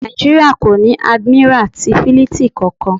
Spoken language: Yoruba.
Nàìjíríà kò ní Àdìmírà ti Fílítìì kankan.